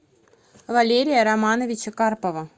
валерия романовича карпова